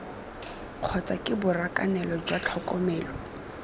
kgotsa ke borakanelo jwa tlhokomelo